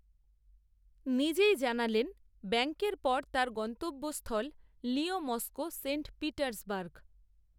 নিজেই জানালেন ব্যাঙ্ককের পর তাঁর গন্তব্যস্থল, লিয়ঁ মস্কো সেন্ট পিটার্সবার্গ